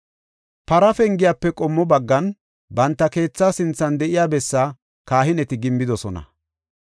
Para Pengiyafe qommo baggan, banta keethaa sinthan de7iya bessaa kahineti gimbidosona.